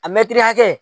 A mɛtiri hakɛ